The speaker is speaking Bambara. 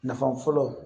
Nafa fɔlɔ